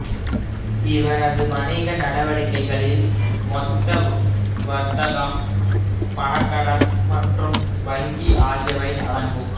இவரது வணிக நடவடிக்கைகளில் மொத்த வர்த்தகம் பணக் கடன் மற்றும் வங்கி ஆகியவை அடங்கும்